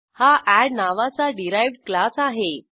हा एड नावाचा derived class आहे